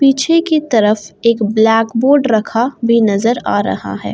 पीछे की तरफ एक ब्लैक बोर्ड रखा भी नजर आ रहा है।